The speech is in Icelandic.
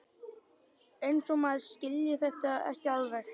Eins og maður skilji þetta ekki alveg!